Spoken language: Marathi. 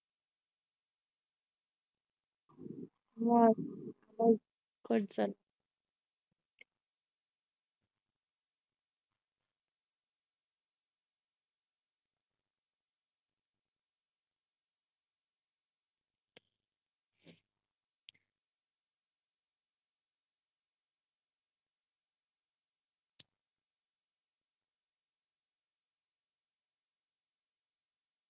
cut झाला